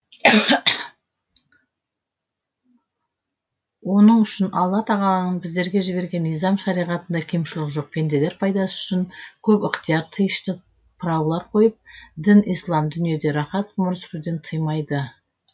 оның үшін алла тағаланың біздерге жіберген низам шариғатында кемшілік жоқ пенделер пайдасы үшін көп ықтиар тыйышты прауалар қойып дін ислам дүниеде рахат ғұмыр сүруден тыймайды